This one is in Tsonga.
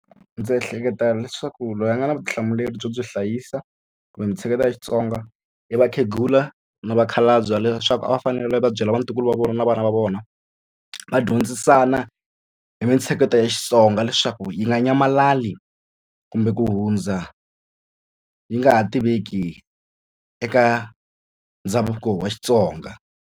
Ndzi ehleketa leswaku loyi a nga na vutihlamuleri byo byi hlayisa kumbe mitsheketo ya Xitsonga i vakhegula na vakhalabye leswaku a va fanele va va byela vatukulu va vona na vana va vona va dyondzise xana hi mintsheketo ya Xitsonga leswaku yi nga nyamalali kumbe ku hundza yi nga ha tiveki eka ndhavuko wa Xitsonga.